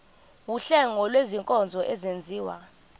wuhlengo lwezinkonzo ezenziwa